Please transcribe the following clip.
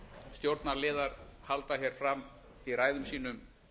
stjórnarliðar halda hér fram í ræðum sínum